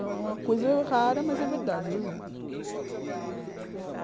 Então é uma coisa rara, mas é verdade, eu juro.